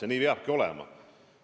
Ja nii peabki olema.